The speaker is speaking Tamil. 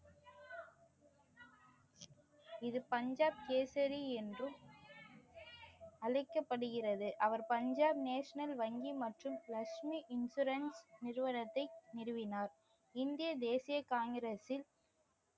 இது பஞ்சாப் கேசரி என்றும் அழைக்கப்படுகிறது அவர் பஞ்சாப் நேஷனல் வங்கி மற்றும் லக்ஷ்மி இன்ஷுரன்ஸ் நிறுவனத்தை நிறுவினார் இந்திய தேசிய காங்கிரஸின்